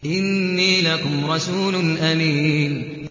إِنِّي لَكُمْ رَسُولٌ أَمِينٌ